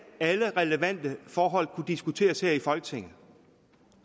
alle relevante forhold kunne diskuteres her i folketinget